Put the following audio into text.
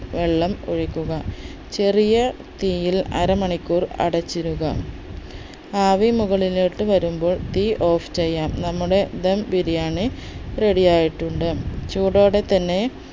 വെള്ളം ഒഴിക്കുക ചെറിയ തീയിൽ അര മണിക്കൂർ അടച്ചിടുക ആവി മുകളിലോട്ട് വരുമ്പോൾ തീ off ചെയ്യാം നമ്മുടെ ധം ബിരിയാണി ready ആയിട്ടുണ്ട് ചൂടോടെ തന്നെ